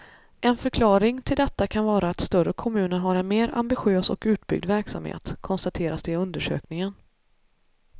En förklaring till detta kan vara att större kommuner har en mer ambitiös och utbyggd verksamhet, konstateras det i undersökningen.